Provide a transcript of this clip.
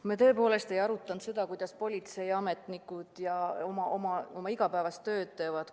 Me tõepoolest ei arutanud seda, kuidas politseiametnikud oma igapäevast tööd teevad.